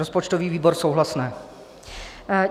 Rozpočtový výbor - souhlasné.